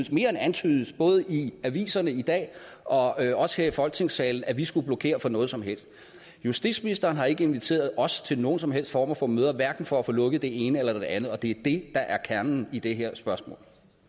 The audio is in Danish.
mere end antydet både i aviserne i dag og også her i folketingssalen at vi skulle blokere for noget som helst justitsministeren har ikke inviteret os til nogen som helst former for møder hverken for at få lukket det ene eller det andet og det er det der er kernen i det her spørgsmål